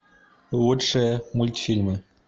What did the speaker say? лучшие мультфильмы